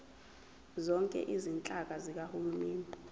zonke izinhlaka zikahulumeni